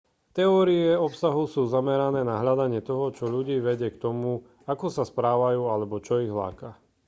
teórie obsahu sú zamerané na hľadanie toho čo ľudí vedie k tomu ako sa správajú alebo čo ich láka